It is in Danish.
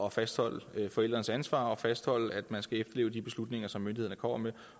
at fastholde forældrenes ansvar og fastholde at man skal efterleve de beslutninger som myndighederne kommer med